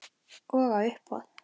Og á uppboð.